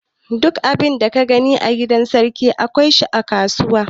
Duk abin da ka gani a gidan sarki, akwai shi a kasuwa.